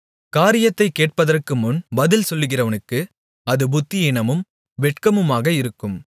காரியத்தைக் கேட்பதற்குமுன் பதில் சொல்லுகிறவனுக்கு அது புத்தியீனமும் வெட்கமுமாக இருக்கும்